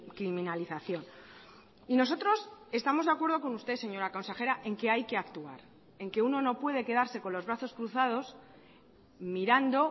criminalización y nosotros estamos de acuerdo con usted señora consejera en que hay que actuar en que uno no puede quedarse con los brazos cruzados mirando